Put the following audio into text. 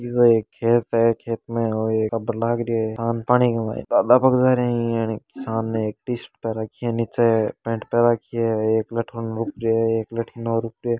यह एक खेत है खेत में और यह बना रखी है पानी भरा हुआ है किसान ने एक टीसरट पैर रखी है निचे पैंट पहन राखी है एक लठ इने रोप रो है एक लठ बीने रोप रो है।